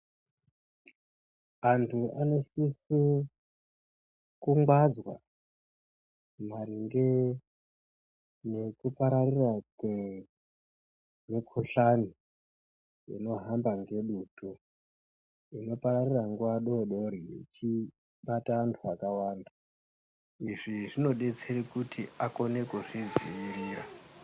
Antu anosise kungwadzwa maringe nekupararira kwemukuhlani inohamba ngedutu inopararira nguwa doodori ichibata antu akawanda. Izvi zvinodetsere kuti akone kuzvidziirira.